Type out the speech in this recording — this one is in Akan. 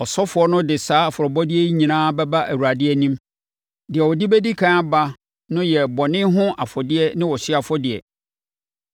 “Ɔsɔfoɔ no de saa afɔrebɔdeɛ yi nyinaa bɛba Awurade anim. Deɛ ɔde bɛdi ɛkan aba no yɛ bɔne ho afɔdeɛ ne ɔhyeɛ afɔdeɛ,